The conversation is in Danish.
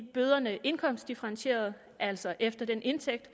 bøderne indkomstdifferentierede altså efter den indtægt